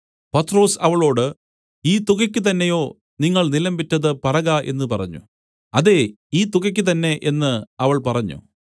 പത്രൊസ് അവളോട് ഈ തുകയ്ക്ക് തന്നെയോ നിങ്ങൾ നിലം വിറ്റത് പറക എന്ന് പറഞ്ഞു അതേ ഈ തുകയ്ക്ക് തന്നെ എന്ന് അവൾ പറഞ്ഞു